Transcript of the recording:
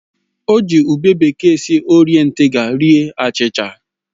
O ji ube bekee si orie ntigha rie achịcha